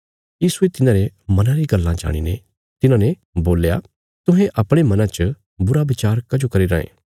यीशुये तिन्हारे मना री गल्लां जाणीने तिन्हांने बोल्या तुहें अपणे मना च बुरा बचार कजो करी रांये